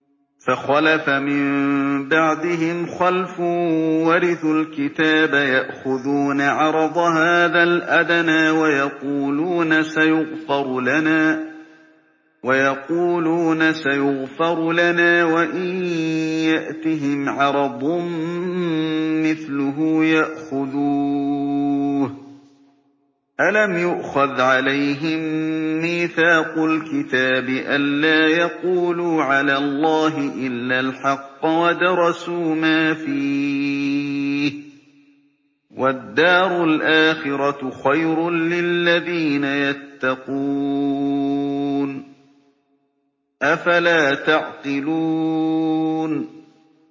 فَخَلَفَ مِن بَعْدِهِمْ خَلْفٌ وَرِثُوا الْكِتَابَ يَأْخُذُونَ عَرَضَ هَٰذَا الْأَدْنَىٰ وَيَقُولُونَ سَيُغْفَرُ لَنَا وَإِن يَأْتِهِمْ عَرَضٌ مِّثْلُهُ يَأْخُذُوهُ ۚ أَلَمْ يُؤْخَذْ عَلَيْهِم مِّيثَاقُ الْكِتَابِ أَن لَّا يَقُولُوا عَلَى اللَّهِ إِلَّا الْحَقَّ وَدَرَسُوا مَا فِيهِ ۗ وَالدَّارُ الْآخِرَةُ خَيْرٌ لِّلَّذِينَ يَتَّقُونَ ۗ أَفَلَا تَعْقِلُونَ